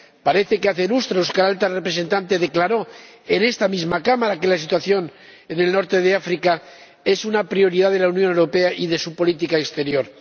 Parece que hace lustros que la Alta Representante declaró en esta misma Cámara que la situación en el norte de África es una prioridad de la Unión Europea y de su política exterior.